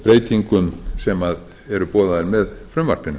breytingum sem eru boðaðar með frumvarpinu